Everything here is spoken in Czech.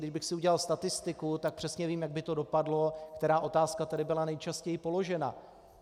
Kdybych si udělal statistiku, tak přesně vím, jak by to dopadlo, která otázka tedy byla nejčastěji položena.